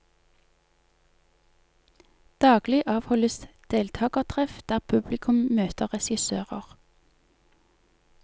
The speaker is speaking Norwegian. Daglig avholdes deltagertreff der publikum møter regissører.